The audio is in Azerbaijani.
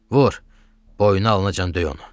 Vur! Boynu alınacan döy onu!